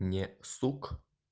не сук